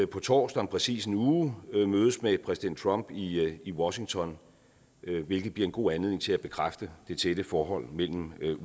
på torsdag om præcis en uge mødes med præsident trump i i washington hvilket bliver en god anledning til at bekræfte det tætte forhold mellem